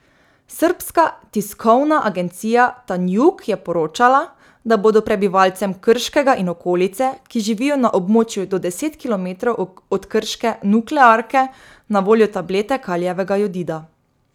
Srbska tiskovna agencija Tanjug je poročala, da bodo prebivalcem Krškega in okolice, ki živijo na območju do deset kilometrov od krške nuklearke, na voljo tablete kalijevega jodida.